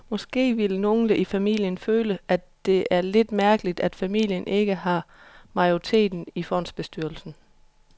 Måske vil nogle i familien føle, at det er lidt mærkeligt, at familien ikke har majoriteten i fondsbestyrelsen.